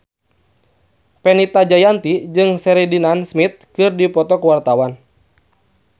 Fenita Jayanti jeung Sheridan Smith keur dipoto ku wartawan